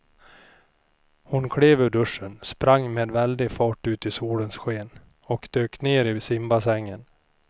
Hon klev ur duschen, sprang med väldig fart ut i solens sken och dök ner i simbassängen.